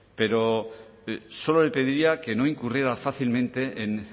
pero solo le pediría que no incurriera fácilmente en